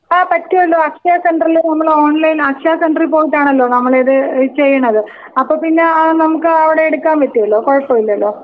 ആ പറ്റുല്ലോ. അക്ഷയ സെൻട്രൽ നമ്മള് ഓൺലൈനിൽ അക്ഷയ സെന്ററി പോയിട്ടണലോ നമ്മൾ ഇത് ചെയിണത് അപ്പോ പിന്നെ നമ്മുക്ക് അവിടെ എടുക്കാൻ പറ്റുമല്ലോ കൊഴപ്പോമില്ലല്ലോ?